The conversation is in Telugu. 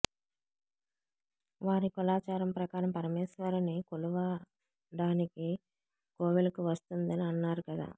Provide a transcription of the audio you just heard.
వారి కులాచారం ప్రకారం పరమేశ్వరిని కొలువడానికి కోవెలకువస్తుందని అన్నారు కదా